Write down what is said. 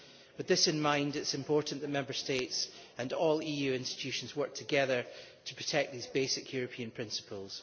With this in mind it is important that Member States and all EU institutions work together to protect these basic European principles.